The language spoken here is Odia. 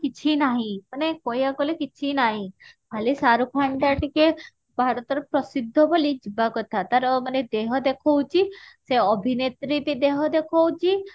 କିଛି ନାହିଁ ମାନେ କହିବାକୁ ଗଲେ କିଛି ନାହିଁ ଖାଲି ଶାହରୁଖ ଖାନ ଟା ଟିକେ ଭରତ ର ପ୍ରସିଦ୍ଧ ବୋଲି ଯିବା କଥା ତାର ମାନେ ଦେହ ଦେଖଉଛି ସେ ଅଭିନେତ୍ରୀ ବି ଦେହ ଦେଖଉଛି